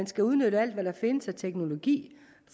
skal udnytte alt hvad der findes af teknologi